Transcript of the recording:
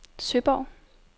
Søborg